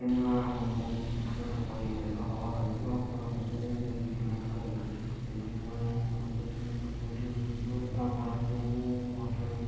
यहाँ हमको एक रिक्शा दिखाई दे रहा है यहाँ पर हमको ब्लू कलर का रिक्शा दिखाई दे रहा है यहाँ पर हमको सीमेंट दिखाई दे रही है यहाँ पर हमको --]